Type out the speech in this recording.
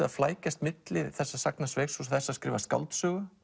að flækjast milli þessa sagnasveigs og þess að skrifa skáldsögu